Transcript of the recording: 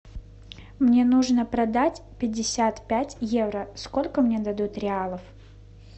мне нужно продать пятьдесят пять евро сколько мне дадут реалов